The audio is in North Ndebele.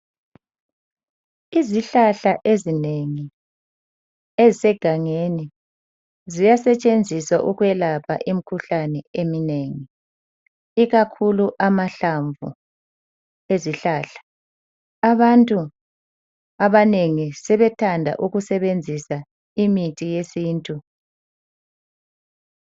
izihlahla ezinengi ezisegangeni ziyasetshenziswa ukwelapha imikhulane eminengi ikakhulu amahlamvu ezihlahla abantu abanengi sebethanda ukusebenzisa imithi eyesintu